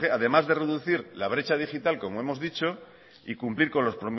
además de reducir la brecha digital como hemos dicho y cumplir con